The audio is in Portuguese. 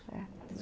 É